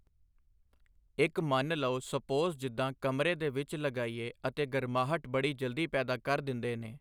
ਇੱਕ ਮੰਨ ਲਉ ਸਪੋਜ਼ ਜਿੱਦਾਂ ਕਮਰੇ ਦੇ ਵਿੱਚ ਲਗਾਈਏ ਅਤੇ ਗਰਮਾਹਟ ਬੜੀ ਜਲਦੀ ਪੈਦਾ ਕਰ ਦਿੰਦੇ ਨੇ।